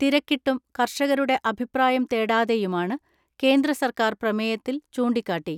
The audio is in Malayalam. തിരക്കിട്ടും കർഷകരുടെ അഭിപ്രായം തേടാതെയുമാണ് കേന്ദ്ര സർക്കാർ പ്രമേയത്തിൽ ചൂണ്ടിക്കാട്ടി.